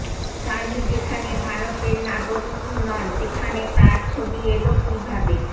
সানি যেখানে ভারতের নাগরিকই নন সেখান তার ছবি এল কীভাবে